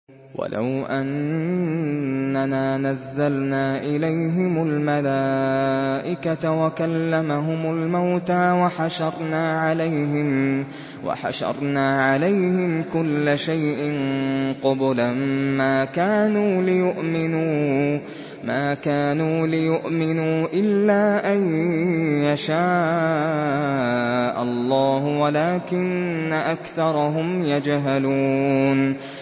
۞ وَلَوْ أَنَّنَا نَزَّلْنَا إِلَيْهِمُ الْمَلَائِكَةَ وَكَلَّمَهُمُ الْمَوْتَىٰ وَحَشَرْنَا عَلَيْهِمْ كُلَّ شَيْءٍ قُبُلًا مَّا كَانُوا لِيُؤْمِنُوا إِلَّا أَن يَشَاءَ اللَّهُ وَلَٰكِنَّ أَكْثَرَهُمْ يَجْهَلُونَ